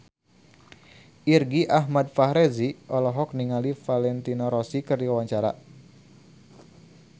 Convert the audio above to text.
Irgi Ahmad Fahrezi olohok ningali Valentino Rossi keur diwawancara